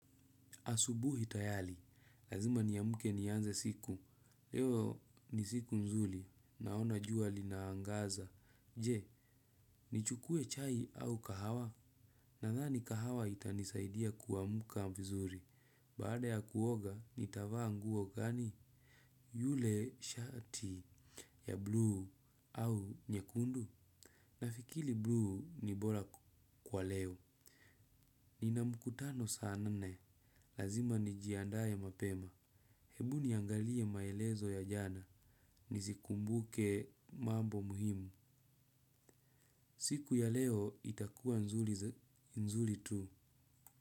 Asubuhi tayali. Lazima niamke nianze siku. Leo ni siku nzuli. Naona jua linaangaza. Je, nichukue chai au kahawa? Nadhani kahawa itanisaidia kuamka vizuri. Baada ya kuoga, nitavaa nguo gani? Yule shati ya bluu au nyekundu? Nafikili blu ni bora kwa leo. Nina mkutano sa nane. Lazima nijiandae mapema. Hebu niangalie maelezo ya jana. Nizikumbuke mambo muhimu. Siku ya leo itakuwa nzuli tu.